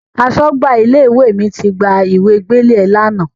Aṣọ́gbà ilé-ìwé mi ti gba ìwe gbélé ẹ lánàá.